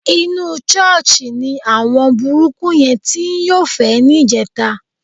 Inú ṣọ́ọ̀ṣì ni àwọn burúkú yẹn ti ń yọ́fẹ̀ẹ́ níjẹta.